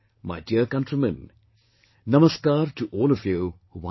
My dear countrymen, Namaskar to all of you once again